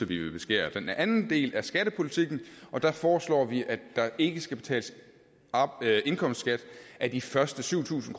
vi vil beskære den anden del er skattepolitikken og der foreslår vi at der ikke skal betales indkomstskat af de første syv tusind